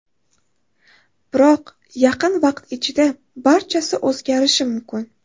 Biroq yaqin vaqt ichida barchasi o‘zgarishi mumkin.